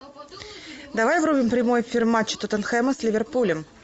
давай врубим прямой эфир матча тоттенхэма с ливерпулем